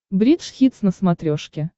бридж хитс на смотрешке